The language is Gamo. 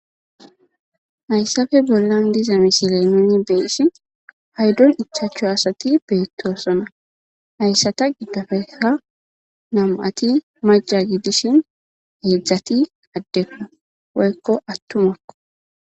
Hayssafe bollan diza misilemini beessi haydon ichaachcho asati beettosona hayssata giddofeha namu'ati maja gidishin heedzdzati addekku woyekko attumakko.